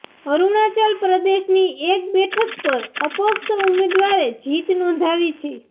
અરુણાચલ પ્રદેશની એક બેઠક પર અપક્ષ ઉમેદવારે જીત નોંધાવી છે